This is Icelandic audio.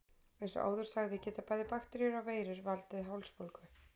Eins og áður sagði geta bæði bakteríur og veirur valdið hálsbólgu.